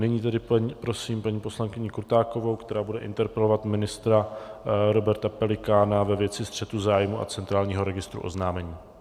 Nyní tedy prosím paní poslankyni Krutákovou, která bude interpelovat ministra Roberta Pelikána ve věci střetu zájmů a centrálního registru oznámení.